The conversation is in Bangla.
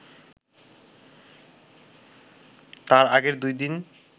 তার আগের দুই দিন